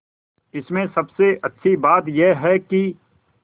इसमें सबसे अच्छी बात यह है कि